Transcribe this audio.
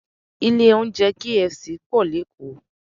Ilé oúnjẹ KFC pọ̀ lékòó